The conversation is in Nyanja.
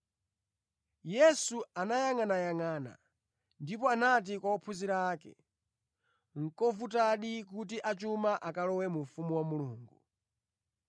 Yesu anayangʼanayangʼana ndipo anati kwa ophunzira ake, “Nʼkovutadi kuti achuma akalowe mu ufumu wa Mulungu!”